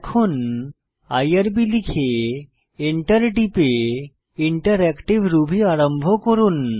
এখন আইআরবি লিখে এন্টার টিপে ইন্টারেক্টিভ রুবি আরম্ভ করুন